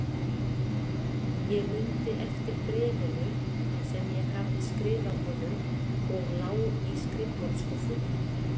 Ég mundi eftir bréfinu sem ég hafði skrifað honum og lá í skrifborðsskúffunni.